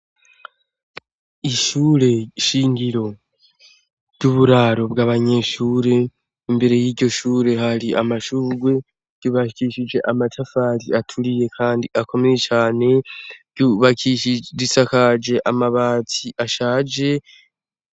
Ishure nshingiro ry'uburaro bw'abanyeshure. Imbere yiryo shure hari amashugwe, ryubakishije amatafari aturiye kandi akomeye cane, risakaje amabati ashaje.